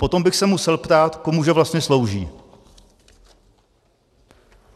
Potom bych se musel ptát, komu že vlastně slouží.